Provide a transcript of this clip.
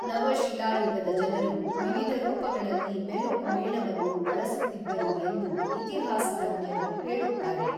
ನವ ಶಿಲಾಯುಗದ ಜನರು ವಿವಿಧ ರೂಪಗಳಲ್ಲಿ ಮೆಲುಕು ಮೇಣವನ್ನು ಬಳಸುತ್ತಿದ್ದರು ಎಂದು ಇತಿಹಾಸ ತಜ್ಞರು ಹೇಳುತ್ತಾರೆ.